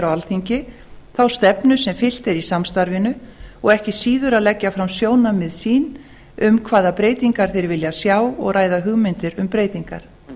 alþingi þá stefnu sem fylgt er í samstarfinu og ekki síður að leggja fram sjónarmið sín um hvaða breytingar þeir vilja sjá og ræða hugmyndir um breytingar